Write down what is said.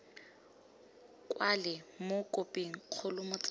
kwalwe mo khophing kgolo motsamaisi